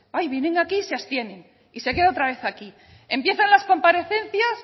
ay vienen aquí y se abstienen y se queda otra vez aquí empiezan las comparecencias